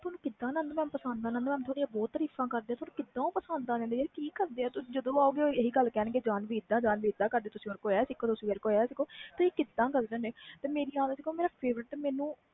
ਤੁਹਾਨੂੰ mam ਕੀਦਾ ਪਸੰਦ ਆ mam ਤੁਹਾਡੀਆਂ ਬਹੁਤ ਤਾਰੀਫਾਂ ਕਰਦੇ ਆ ਤੁਹਾਨੂੰ ਕੀਦਾ ਪਸੰਦ ਆ ਜਾਂਦੀ ਆ ਕਿ ਕਰਦੇ ਜਦੋ ਉਹ ਅਣ ਗਏ ਕਹਿਣ ਗਏ ਜਾਨਵੀ ਇਹਦਾ ਜਾਨਵੀ ਓਹਦਾ ਕਰਦੀ ਤੁਸੀ ਉਸਤੋਂ ਆਹ ਸਿੱਖੋ ਓ ਸਿੱਖੋ